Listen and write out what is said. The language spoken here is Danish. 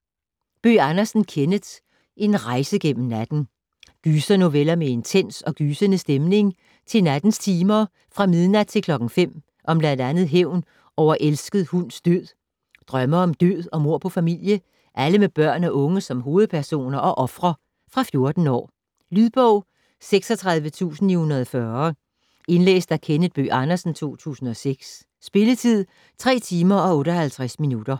Bøgh Andersen, Kenneth: En rejse gennem natten Gysernoveller med intens og gysende stemning til nattens timer fra midnat til klokken 5 om bl.a. hævn over elsket hunds død, drømme om død og mord på familie - alle med børn og unge som hovedpersoner og ofre. Fra 14 år. Lydbog 36940 Indlæst af Kenneth Bøgh Andersen, 2006. Spilletid: 3 timer, 58 minutter.